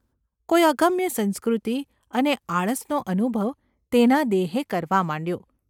કોઈ અગમ્ય સંસ્કૃતિ અને આળસનો અનુભવ તેના દેહે કરવા માંડ્યો.